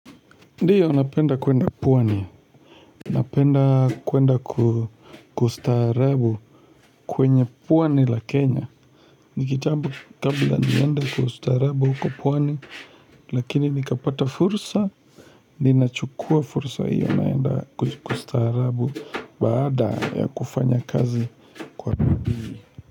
Ndiyo unapenda kwenda puwani, unapenda kwenda kustaarabu kwenye pwani la Kenya ni kitambo kabla niende kustaarabu huko pwani Lakini nikapata fursa, ninachukua fursa hiyo naenda kustaarabu Baada ya kufanya kazi kwa bidii.